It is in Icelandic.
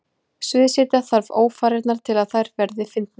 Sviðsetja þarf ófarirnar til að þær verði fyndnar.